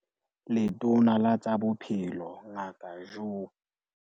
Letona la tsa Bophelo Ngaka Joe